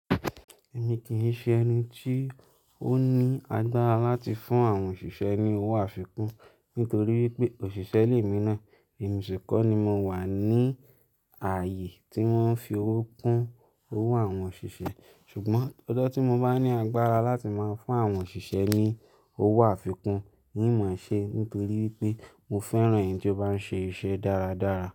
Èmi kì í ṣe ẹni tí ó ní agbára láti fún àwọn òṣìṣẹ́ ní owó àfikún nítorí wípé òṣìṣẹ́ lémi náà emi ṣi ko ni mo wà ní ààyè tí wọ́n fi owó kún owó àwọn òṣìṣẹ́ ṣùgbọ́n ọjọ̀ tí mo bá ní agbára láti máa fún àwọn òṣìṣẹ́ ní owó àfikún, n máa ṣe nítorí wípé mo fẹ́ràn èní tó bá ń ṣe iṣẹ́ dáradára.